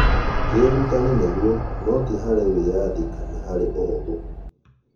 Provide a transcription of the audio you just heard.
Kĩũrũtanĩ, nĩguo, no ti harĩ wĩathĩ kana harĩ ũhũthũ